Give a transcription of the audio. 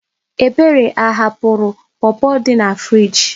Ebere ahapụrụ pọpọ dị na friiji?